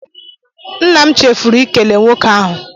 Nna m chefuru ịkele nwoke ahụ